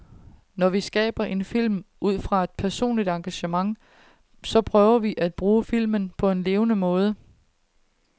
Når vi skaber film ud fra et personligt engagement, så prøver vi at bruge film på en levende måde.